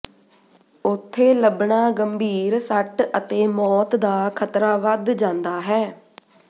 ਉੱਥੇ ਲੱਭਣਾ ਗੰਭੀਰ ਸੱਟ ਅਤੇ ਮੌਤ ਦਾ ਖਤਰਾ ਵੱਧ ਜਾਂਦਾ ਹੈ